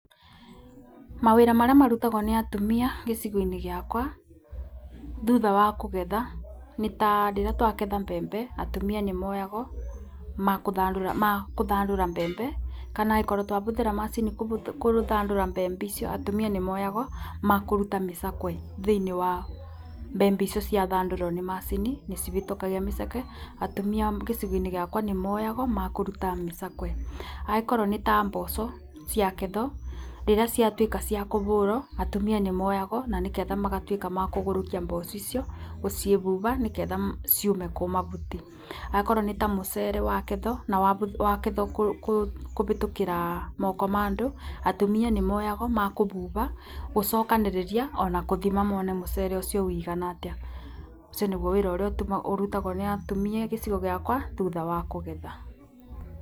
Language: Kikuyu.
Mawĩra marĩa marutagwo nĩ atumia gĩcigo-nĩ gĩakwa thutha wa kũgetha nĩ ta rĩrĩa twaketha mbvembe, atumia nĩ moyago makũthyandũra mbembe. kana angĩkorwo twabũthĩra macini kũthandũra mbembe icio atumia nĩmoyago makũruta mĩcakwe thĩinĩ wa mbembe icio ciathandũrwo nĩ macini nĩ cibĩtũkagia mĩcakwe. Atumia a gicigo-inĩ gĩakwa nĩ moyagwo makũruta mĩcakwe. Angĩkorwo nĩ ta mboco ciangethwo rĩria ciatuĩka ciakũbũrwo atumia nĩ moyagwo na nĩ ketha magatuĩa makũgũrũkia mboco icio gũcibuba na nĩgetha ciume kũ mabuti. Akorwo nĩ ta mũcere wakethwo na wa wakethwo kũbĩtũkĩra moko ma andũ atumia nĩ moyagwo makũbuba, gũcokanĩrĩria ona kũthima mone mũcere ũcio wigana atĩa. Ũcio nĩguo wĩra ũrĩa ũrutagwo nĩ atumia agĩcigo gĩakwa thutha wa kũgetha.